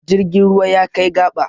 Jirgin ruwa ya kai gaba.